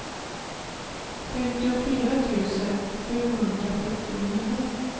femtiofyra tusen sjuhundrasjuttionio